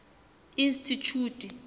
institjhute